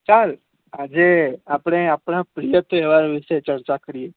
આજે આપણે આપણા તહેવારો વિશે ચચાૅ કરીયે.